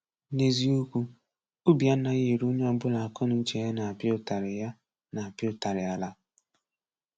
N’eziokwu, obi anaghị eru onye ọbụla akọnuche ya na-apịa ụtarị ya na-apịa ụtarị ala.